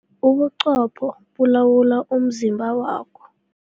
Ubuqopho bulawula umzimba wakho.